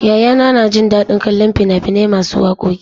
Yayana na jin daɗin kallon fina-finai masu wakoki.